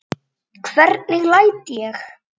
Hvernig læt ég!